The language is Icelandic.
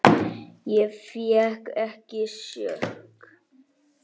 Ég fékk ekki sjokk.